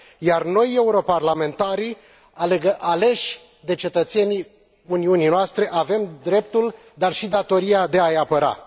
Iar noi, europarlamentarii aleși de cetățenii Uniunii noastre, avem dreptul, dar și datoria de a i apăra.